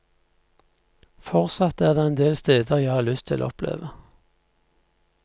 Fortsatt er det en del steder jeg har lyst til å oppleve.